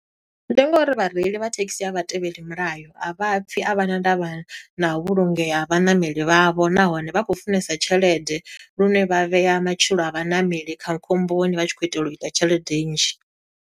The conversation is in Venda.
Ndi ngo uri vhareili vha thekhisi a vha tevheli milayo, a vha pfi, a vha na ndavha na u vhulungea ha vhaṋameli vha vho. Nahone vha khou funesa tshelede lune vha vhea matshilo a vhaṋameli kha khomboni, vha tshi khou itela u ita tshelede nnzhi.